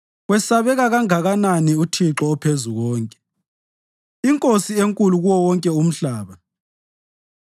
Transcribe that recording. Wesabeka kangakanani uThixo oPhezukonke, iNkosi enkulu kuwo wonke umhlaba!